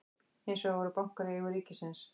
Hins vegar voru bankar í eigu ríkisins.